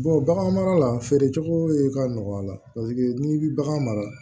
bagan mara la feere cogo ka nɔgɔ a la paseke n'i bi bagan mara